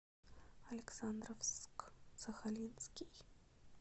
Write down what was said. александровск сахалинский